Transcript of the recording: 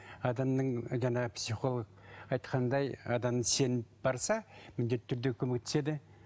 адамның жаңағы психолог айтқандай адам сеніп барса міндетті түрде көмектеседі